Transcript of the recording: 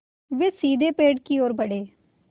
वे सीधे पेड़ की ओर बढ़े